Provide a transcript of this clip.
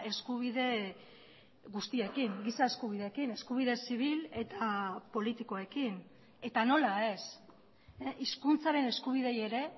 eskubide guztiekin giza eskubideekin eskubide zibil eta politikoekin eta nola ez hizkuntzaren eskubideei ere